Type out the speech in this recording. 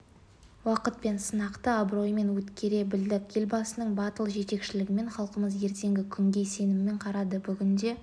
уақыт пен сынақты абыроймен өткере білдік елбасының батыл жетекшілігімен халқымыз ертеңгі күнге сеніммен қарады бүгінде